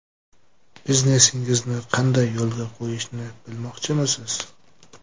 Biznesingizni qanday yo‘lga qo‘yishni bilmoqchimisiz?.